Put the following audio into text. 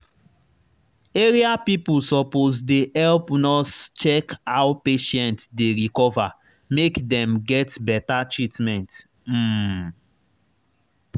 area people suppose dey help nurse check how patient dey recover make dem get better treatment. um